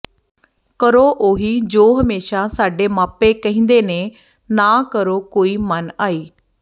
ਕਰੋ ਉਹੀ ਜੋ ਹਮੇਸ਼ਾ ਸਾਡੇ ਮਾਪੇ ਕਹਿੰਦੇ ਨੇ ਨਾ ਕਰੋ ਕੋਈ ਮਨ ਆਈ